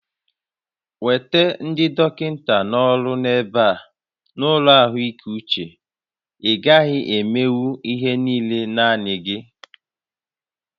Weta ndị dọkịta na-ọrụ n'ebe a n'ụlọ ahụike uche, ị gaghị emenwu ihe niile naanị gị!